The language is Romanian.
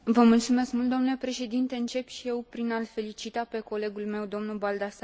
Încep și eu prin a l felicita pe colegul meu, domnul Baldassarre, pentru acest raport.